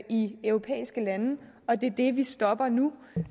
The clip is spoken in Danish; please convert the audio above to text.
i europæiske lande og det er det vi stopper nu